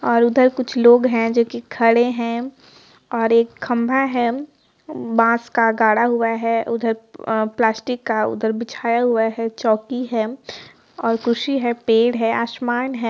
और उधर कुछ लोग है जो की खड़े है और एक खम्भा है बास का गाड़ा हुआ है उधर अ प्लास्टिक उधर बिछाया हुआ है चौकी है खुशी है पेड़ है आसमान है।